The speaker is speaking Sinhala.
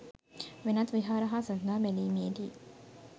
වෙනත් විහාර හා සසඳා බැලීමේදී